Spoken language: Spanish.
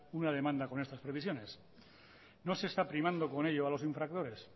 una demanda con estas previsiones no se está primando con ello a los infractores